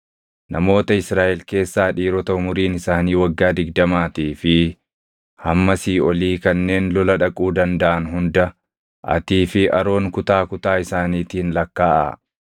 Namoota Israaʼel keessaa dhiirota umuriin isaanii waggaa digdamaatii fi hammasii olii kanneen lola dhaquu dandaʼan hunda atii fi Aroon kutaa kutaa isaaniitiin lakkaaʼaa.